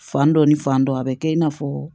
Fan dɔ ni fan dɔ a be kɛ i n'a fɔ